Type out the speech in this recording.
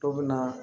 Dɔw bɛ na